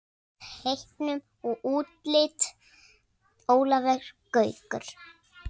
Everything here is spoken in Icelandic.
Teiknun og útlit Ólafur Gaukur.